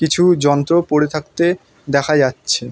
কিছু যন্ত্র পরে থাকতে দেখা যাচ্ছে।